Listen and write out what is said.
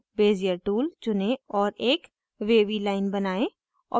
bezier tool चुनें और एक wavy line बनाएं